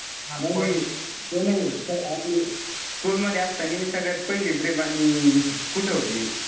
ते नाही आपली school मध्ये असताना सगळ्यांत पहिली trip आणि कुठं होती?